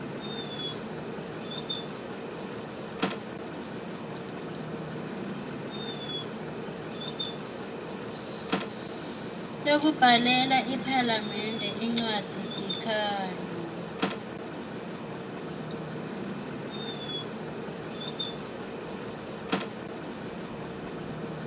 lekubhalela iphalamende incwadzisikhalo